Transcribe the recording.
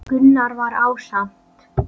Gunnar var ásamt